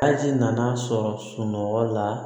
Aji nana sɔrɔ sunɔgɔ la